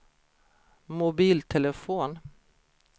mobiltelefon